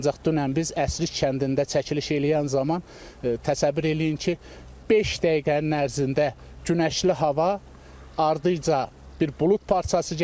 Ancaq dünən biz Əsrik kəndində çəkiliş eləyən zaman təsəvvür eləyin ki, beş dəqiqənin ərzində günəşli hava ardınca bir bulud parçası gəldi.